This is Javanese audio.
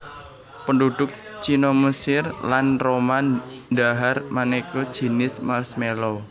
Penduduk Cina Mesir lan Roma dhahar maneka jinis marshmallow